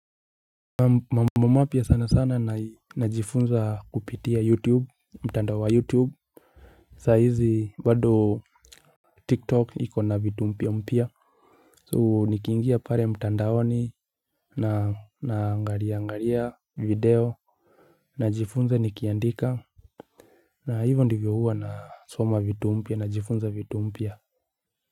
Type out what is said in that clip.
Mambo mapya sana sana na najifunza kupitia youtube mtandao wa youtube Sa hizi bado tiktok ikona vitu mpya mpya So nikiingia pale mtandaoni na naangalia angalia video. Najifunza nikiandika. Na hivyo ndivyo huwa na soma vitu mpya najifunza vitu mpya.